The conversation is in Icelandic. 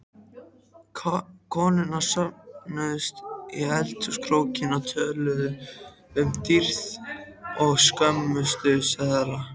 Konurnar söfnuðust í eldhúskrókinn og töluðu um dýrtíð og skömmtunarseðla.